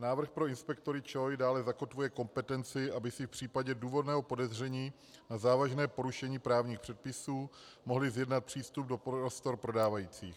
Návrh pro inspektory ČOI dále zakotvuje kompetenci, aby si v případě důvodného podezření na závažné porušení právních předpisů mohli zjednat přístup do prostor prodávajících.